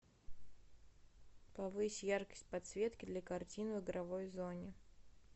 повысь яркость подсветки для картин в игровой зоне